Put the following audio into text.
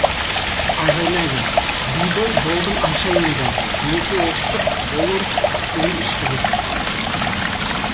айғайлады бибі болдың айша енді неке оқытып болып суын ішкізіп